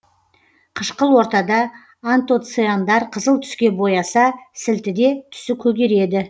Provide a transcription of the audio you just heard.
қышқыл ортада антоциандар қызыл түске бояса сілтіде түсі көгереді